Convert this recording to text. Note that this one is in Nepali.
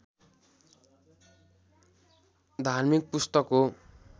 धार्मिक पुस्तक हो